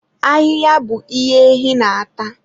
Ahịhịa bụ ihe ehi na-ata.